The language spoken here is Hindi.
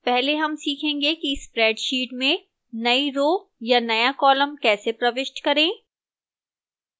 पहले हम सीखेंगे कि spreadsheet में नई row या नया column कैसे प्रविष्ट करें